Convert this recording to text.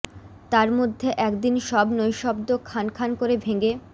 তার মধ্যে একদিন সব নৈঃশব্দ্য খান খান করে ভেঙে